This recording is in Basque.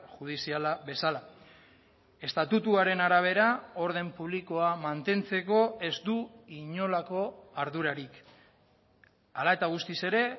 judiziala bezala estatutuaren arabera orden publikoa mantentzeko ez du inolako ardurarik hala eta guztiz ere